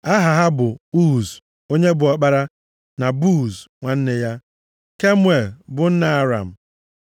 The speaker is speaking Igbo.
Aha ha bụ Uz, onye bụ ọkpara, na Buz nwanne ya, Kemuel bụ (nna Aram),